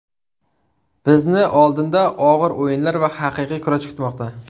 Bizni oldinda og‘ir o‘yinlar va haqiqiy kurash kutmoqda.